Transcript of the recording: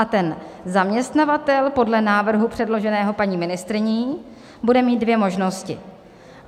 A ten zaměstnavatel podle návrhu předloženého paní ministryní bude mít dvě možnosti.